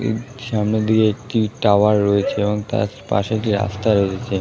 তার সামনে দিয়ে একটি টাওয়ার রয়েছে তার পাশে দিয়ে দিয়ে একটি রাস্তা রয়েছে ।